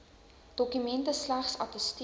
dokumente slegs attesteer